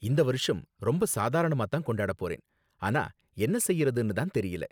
இந்த வருஷம் ரொம்ப சாதாரணமா தான் கொண்டாட போறேன், ஆனா என்ன செய்யறதுன்னு தான் தெரியல.